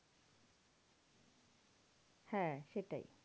হ্যাঁ সেটাই।